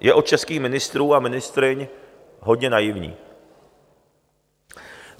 je od českých ministrů a ministryň hodně naivní.